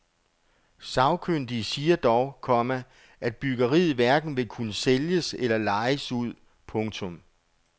Sagkyndige siger dog, komma at byggeriet hverken vil kunne sælges eller lejes ud. punktum